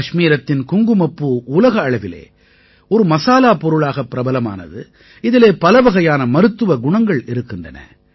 கஷ்மீரத்தின் குங்குமப்பூ உலக அளவிலே ஒரு மசாலாப் பொருளாக பிரபலமானது இதிலே பலவகையான மருத்துவ குணங்கள் இருக்கின்றன